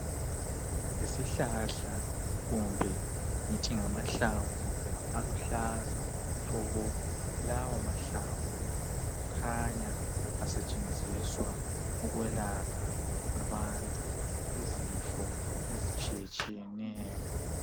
Yisihlahla kumbe ngithi ngamahlamvu aluhlaza tshoko! Lawo mahlamvu kukhanya asetshenziswa ukwelapha abantu izifo ezitshiyetshiyeneyo.